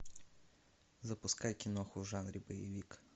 запускай киноху в жанре боевик